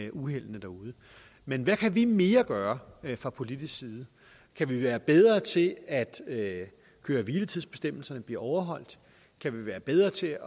af uheld derude men hvad kan vi mere gøre fra politisk side kan vi være bedre til at at køre hvile tids bestemmelserne bliver overholdt kan vi være bedre til